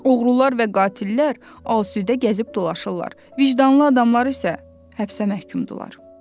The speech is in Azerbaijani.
Oğrular və qatillər asudə gəzib dolaşırlar, vicdanlı adamlar isə həbsdə məhkumdurlar.